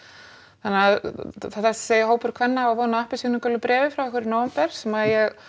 þannig að þessi hópur kvenna á von á appelsínugulu bréfi frá okkur í nóvember sem ég